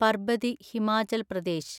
Parbati (Himachal Pradesh)